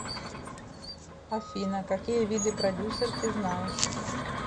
афина какие виды продюсер ты знаешь